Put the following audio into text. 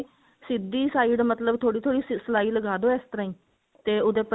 ਸਿਧੀ side ਮਤਲਬ ਥੋੜੀ ਥੋੜੀ ਸਿਲਾਈ ਲਗਾਦੋ ਇਸ ਤਰ੍ਹਾਂ ਹੀ ਤੇ ਉਹਦੇ ਉੱਪਰ